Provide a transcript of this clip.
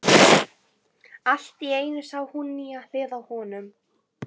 Allt í einu sá hún nýja hlið á honum.